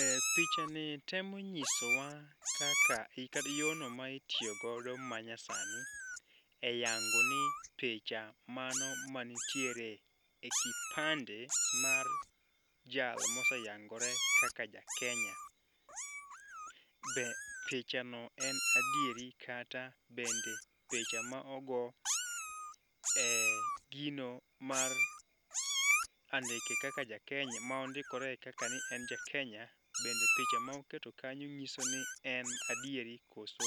E Picha ni temo nyisowa kaka yono ma itiyo godo ma nyasani e yango ni picha mane ma nitiere e kipande mar jal mose yangore kaka ja Kenya. Be picha no en adieri kata bende picha ma ogo e gino mar andike kaka ja Kenya ma ondikore kaka ni en ja kenya. Bende picha ma oketo kanyo ng'iso ni en adiero koso